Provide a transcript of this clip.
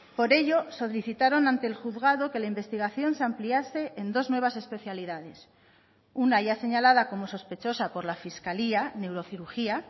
por ello solicitaron ante el juzgado que la investigación se ampliase en dos nuevas especialidades una ya señalada como sospechosa por la fiscalía neurocirugía